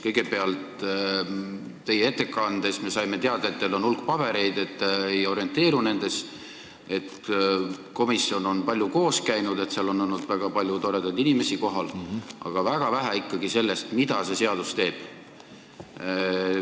Kõigepealt, teie ettekandest me saime teada, et teil on hulk pabereid ja te ei orienteeru nendes, et komisjon on palju koos käinud ja seal on olnud kohal väga palju toredaid inimesi, aga väga vähe saime teada ikkagi sellest, mida see seadus teeb.